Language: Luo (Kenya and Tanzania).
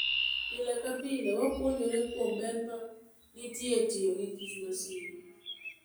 Pile ka pile, wapuonjore kuom ber ma nitie e tiyo gi kich masie.